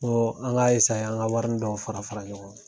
an ga an ka warini dɔ fara fara fara ɲɔgɔn